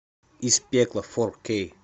из пекла фор кей